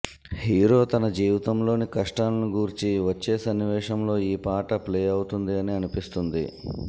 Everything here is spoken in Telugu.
హీరో తన జీవితంలోని కష్టాలను గూర్చి వచ్చే సన్నివేశంలో ఈ పాట ప్లే అవుతుంది అని అనిపిస్తుంది